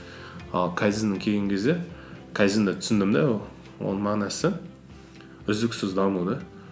ал кайдзенге келген кезде кайдзенді түсіндім де оның мағынасы үздіксіз даму да